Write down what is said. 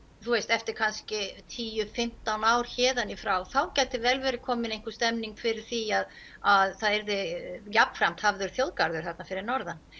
eftir kannski tíu fimmtán ár héðan í frá þá gæti vel verið komin einhver stemning fyrir því að að það yrði jafnframt hafður þjóðgarður þarna fyrir norðan